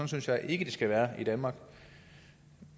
synes jeg ikke det skal være i danmark